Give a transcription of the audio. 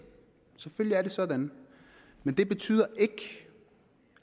selvfølgelig er det sådan men det betyder ikke